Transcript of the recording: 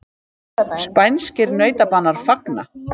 Spænskir nautabanar fagna